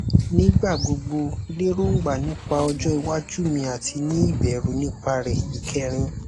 nigbagbogbo lerongba nipa ojo iwaju mi ati ni ibẹru nipa re ikerin